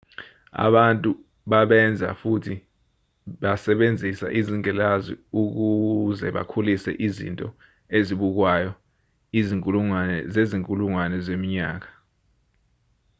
abantu babenza futhi basebenzisa izingilazi ukuze bakhulise izinto ezibukwayo izinkulungwane zezinkulungwane zeminyaka